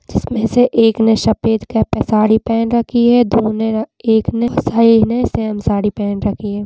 जिसमें से एक ने सफ़ेद की साड़ी पेहन रखी है दो ने एक ने बहोत सारी ने सेम साड़ी पेहन रखी हैं।